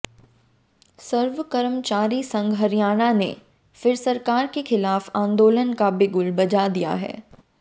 सर्व कर्मचारी संघ हरियाणा ने फिर सरकार के खिलाफ आंदोलन का बिगुल बजा दिया है